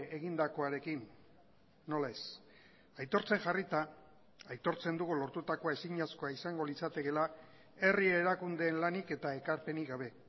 egindakoarekin nola ez aitortzen jarrita aitortzen dugu lortutakoa ezinezkoa izango litzatekeela herri erakundeen lanik eta ekarpenik gabe